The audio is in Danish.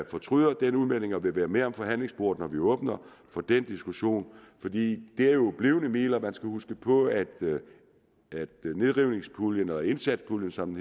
fortryder den udmelding og vil være med ved forhandlingsbordet når vi åbner for den diskussion for det er jo blivende midler man skal huske på at nedrivningspuljen og indsatspuljen som